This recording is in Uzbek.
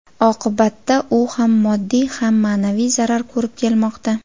Oqibatda u ham moddiy, ham ma’naviy zarar ko‘rib kelmoqda.